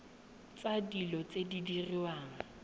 tsa dilo tse di diriwang